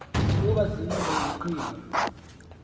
ukuba ziyile iqhinga